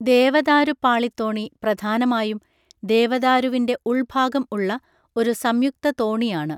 ദേവദാരുപ്പാളിത്തോണി പ്രധാനമായും ദേവദാരുവിന്‍റെ ഉള്‍ഭാഗം ഉള്ള ഒരു സംയുക്ത തോണിയാണ്.